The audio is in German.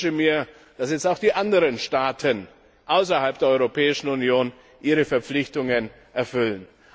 Ich wünsche mir, dass jetzt auch die anderen Staaten außerhalb der Europäischen Union ihre Verpflichtungen erfüllen.